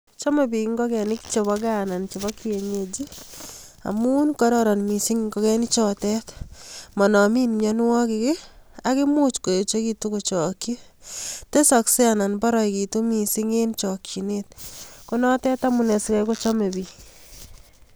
Chome biik ngokenik chebo gaa anan chebo kienyeji amun kororon missing ngokenik chotet manonmi mionwokik akomuch koyechekitu kochokchi tesoksei anan poroekitu missing eng chokchinet ko notet amune asikai kochome biik.